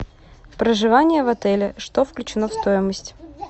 проживание в отеле что включено в стоимость